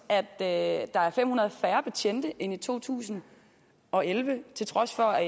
at der er fem hundrede færre betjente end i to tusind og elleve til trods for at